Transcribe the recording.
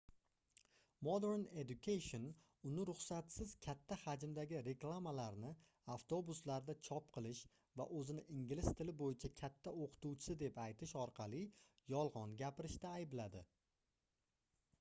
modern education uni ruxsatsiz katta hajmdagi reklamalarni avtobuslarda chop qilish va oʻzini ingliz tili boʻyicha katta oʻqituvchisi deb aytish orqali yolgʻon gapirishda aybladi